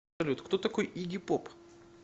салют кто такой игги поп